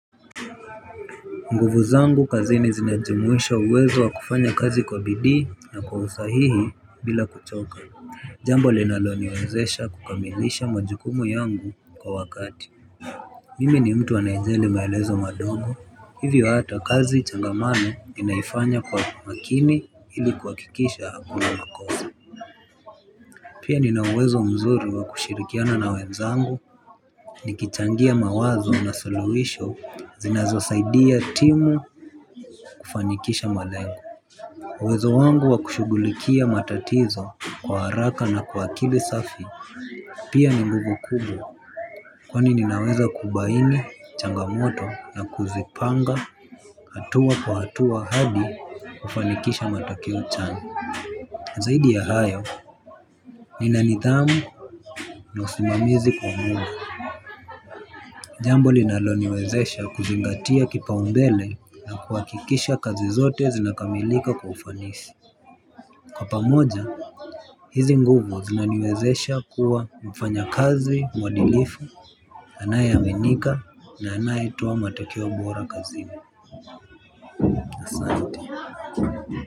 Nguvu zangu kazini zinajumuisha uwezo wa kufanya kazi kwa bidii na kwa usahihi bila kuchoka. Jambo linaloniwezesha kukamilisha majukumu yangu kwa wakati. Mimi ni mtu anayejeli maelezo madogo hivyo hata kazi ichangamane ninaifanya kwa makini ili kuhakikisha hakuna makosa. Pia nina uwezo mzuri wa kushirikiana na wenzangu nikichangia mawazo na suluwisho zinazosaidia timu kufanikisha malengo uWezo wangu wa kushughulikia matatizo kwa haraka na kwa akili safi. Pia ni nguvu kubwa kwani ninaweza kubaini, changamoto na kuzipanga hatua kwa hatua hadi kufanikisha matokeo chanya. Zaidi ya hayo, nina nidhamu na usimamizi wa muda. Jambo linaloniwezesha kuzingatia kipaumbele na kuhakikisha kazi zote zinakamilika kwa ufanisi. Kwa pamoja, hizi nguvu zinaniwezesha kuwa mfanyakazi, muadilifu, anayeaminika na anayetoa matokeo bora kazini.